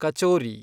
kachori